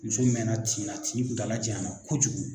Muso mɛnna tin na tin kuntaala janyana kojugu